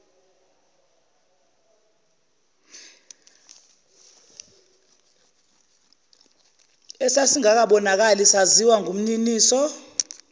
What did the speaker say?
esasingakabonakali saziwa ngumniniso